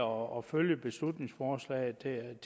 og følge beslutningsforslaget